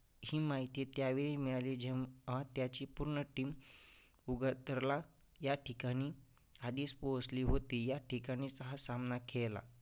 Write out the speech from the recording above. ही माहिती त्यावेळी मिळाली जेव्हा त्याची पूर्ण team उगरतरला या ठिकाणी आधीच पोहोचली होती. या ठिकाणी सहा सामना खेळला